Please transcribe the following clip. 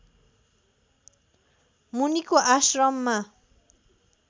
मुनिको आश्रममा